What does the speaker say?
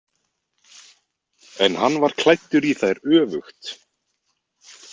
En hann var klæddur í þær öfugt.